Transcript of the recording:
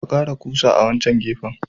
Ka kara kusa à wancan gefen.